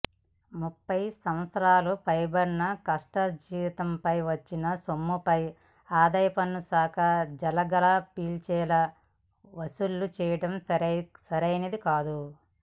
ముప్ఫై సంవత్సరాలు పైబడిన కష్టార్జితంపై వచ్చిన సొమ్ముపై ఆదాయపన్ను శాఖ జలగలా పీల్చేలా వసూలు చేయడం సరైనదికాదు